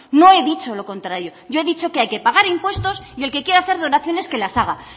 no he dicho lo contrario yo he dicho que hay que pagar impuestos y el que quiera hacer donaciones que las haga